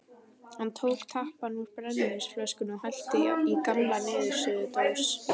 Hann tók tappann úr brennivínsflösku og hellti í gamla niðursuðudós.